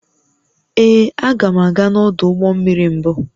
Ee, aga m aga n'ọdụ ụgbọ mmiri mbụ